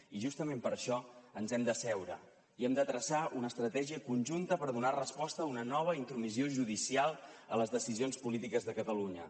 i justament per això ens hem d’asseure i hem de traçar una estratègia conjunta per donar resposta a una nova intromissió judicial a les decisions polítiques de catalunya